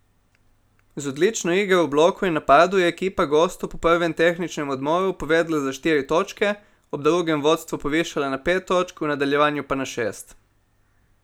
Z odlično igro v bloku in napadu je ekipa gostov po prvem tehničnem odmoru povedla za štiri točke, ob drugem vodstvo povišala na pet točk, v nadaljevanju pa na šest.